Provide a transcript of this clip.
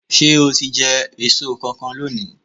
Ṣé o ti jẹ èso kankan lónìí?